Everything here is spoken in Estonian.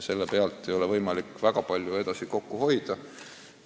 Selle pealt ei ole võimalik väga palju kokku hoida.